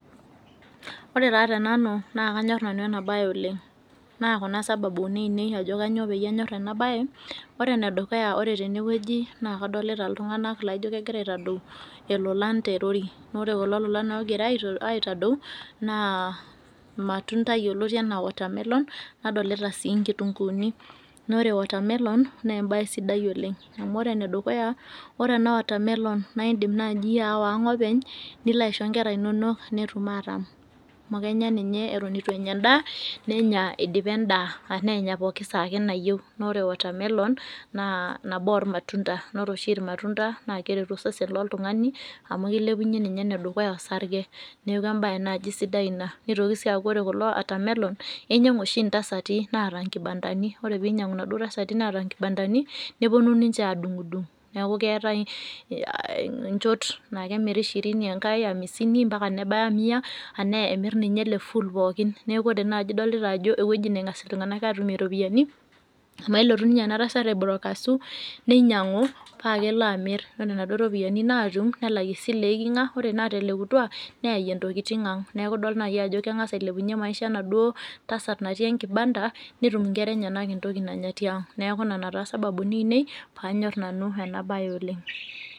Ore taa tenanu naakanyorr nanu enabaye oleng'. Naa kuna sababuni ainei ajo kanyoo peyie anyorr ena baye. Ore enedukuya ore tenewueji naakadolita iltung'ana laaijo kegira aitadou ilolan terori. Neore kulo lolan ogira aitadou naa ilmatunda yoloti anaa  watermelon nadolita sii nkitunguuni, noore watermelon neembaye sidai oleng' amu ore enedukuya ore ena water melon naaindim naaji aawa ang' openy niloaisho nkera inonok netum atam. Amu kenya ninye eton eitu enya endaa nenya eidipa endaa anaaenya pooki saa ake nayou. Naore watermelon naa nabo olmatunda naore oshi ilmatunda naakeretu osesen loltung'ani amu keilepunye ninye enedukuya osarge neaku embaye naji sidai ina. Neitoki sii aaku ore kulo watermelon einyang'u oshi intasati naata inkibandani ore peinyang'u naduo tasati naata nkibandani nepuonu ninche aadung'dung neaku keetai eh inchot naakemiri shirini engai amisini mpaka nebaya mia anaa emirr ninye ele full pookin. Neaku ore naji idolita ajo ewueji neng'as iltung'anak aatumie iropiyani amu elotu ninye enatasat aibrokasu neinyang'u paakelo amirr ore naduo ropiyani naatum nelak isile eeiking'a ore naatelekutua neayie ntokitin ang' neaku idol nai ajo keng'as ailepunye maisha enaduo tasat natii enkibanda netum inkera enyenak entoki nanya tiang'. Neaku nena taa sababuni ainei paanyorr nanu enabaye oleng'.